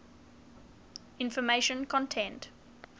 information content